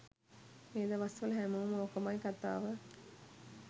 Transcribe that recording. මේ දවස්වල හැමෝම ඕකමයි කතාව